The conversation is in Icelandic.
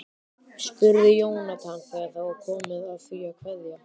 spurði Jónatan þegar komið var að því að kveðja.